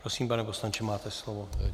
Prosím, pane poslanče, máte slovo.